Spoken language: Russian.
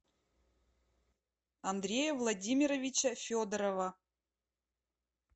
андрея владимировича федорова